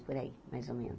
Por aí mais ou menos